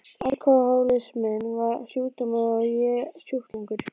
Alkohólisminn var sjúkdómur og ég sjúklingur.